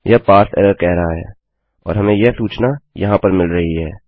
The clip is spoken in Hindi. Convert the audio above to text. यह पारसे एरर कह रहा है और हमें यह सूचना यहाँ पर मिल रही है